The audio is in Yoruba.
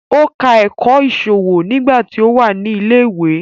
Ó ka ẹ̀kọ́ ìṣòwò nígbà tí ó wà ní ilẹ̀ ìwé